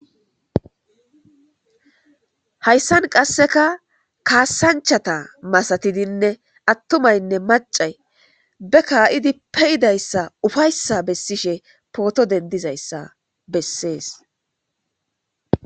hayssan qasseka kaasanchata masatidinne attumaynne macay be kaa'idi pe'idayssa ufayssa bessishe pooto dendizayssa bessees